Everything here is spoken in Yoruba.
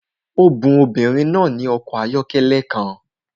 A bun obìnrin náà ní ọkọ̀ ayọ́kẹ́lẹ́ kan